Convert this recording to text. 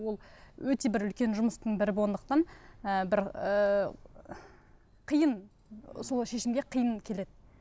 ол өте бір үлкен жұмыстың бірі болғандықтан і бір ііі қиын сол шешімге қиын келеді